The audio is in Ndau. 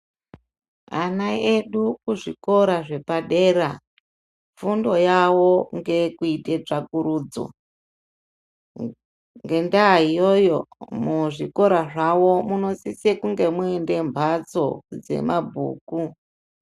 Ana edu kuzvikora zvepadera fundo yawo ngeyekuite tsvakurudzo ngendaya iyoyo muzvikora zvawo munosise kunge muine mbatso dzemabhuku.